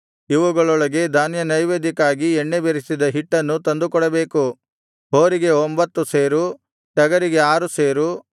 ಇವುಗಳೊಂದಿಗೆ ಧಾನ್ಯನೈವೇದ್ಯಕ್ಕಾಗಿ ಎಣ್ಣೆ ಬೆರಸಿದ ಹಿಟ್ಟನ್ನು ತಂದುಕೊಡಬೇಕು ಹೋರಿಗೆ ಒಂಭತ್ತು ಸೇರು ಟಗರಿಗೆ ಆರು ಸೇರು